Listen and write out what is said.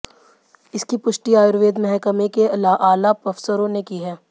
इसकी पुष्टि आयुर्वेद महकमे के आला अफसरों ने की है